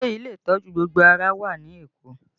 Ṣé ilé ìtọ́jú gbogbo ara wà ní Èkó?